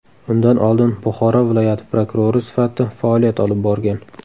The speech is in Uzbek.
Undan oldin Buxoro viloyati prokurori sifatida faoliyat olib borgan .